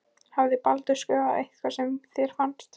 Hafði Baldur skrifað eitthvað sem þér fannst.